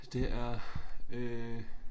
Det er øh